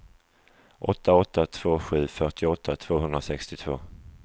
åtta åtta två sju fyrtioåtta tvåhundrasextiotvå